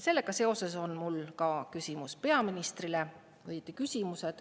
Sellega seoses on mul küsimused peaministrile.